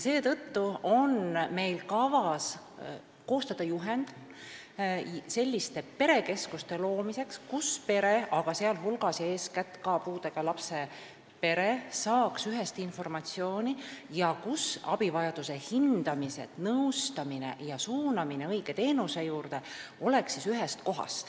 Seetõttu on meil kavas koostada juhend selliste perekeskuste loomiseks, kus pere, sh puudega lapse pere, saaks ühest informatsiooni ning abivajaduse hindamine, nõustamine ja suunamine õige teenuse juurde käiks ühes kohas.